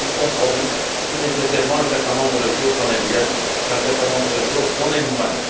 Qui dit compromis dit nécessairement un certain nombre de choses qu'on aime bien et un certain nombre de choses qu'on aime moins.